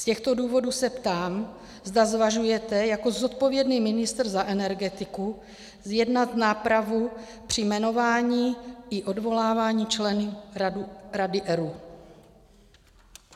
Z těchto důvodů se ptám, zda zvažujete jako zodpovědný ministr za energetiku zjednat nápravu při jmenování i odvolávání členů Rady ERÚ.